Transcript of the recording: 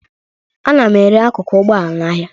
Ana m ere akụkụ ụgbọala n'ahịa